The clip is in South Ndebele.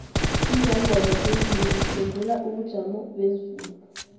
izangoma zezulu ziphengula ubujomobezulu